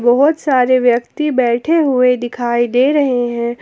बहोत सारे व्यक्ति बैठे हुए दिखाई दे रहे हैं।